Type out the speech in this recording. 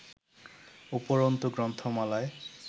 উপরন্তু গ্রন্থমালায়